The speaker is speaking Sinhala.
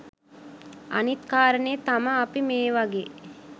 අනිත් කාරණේ තමා අපි මේ වගේ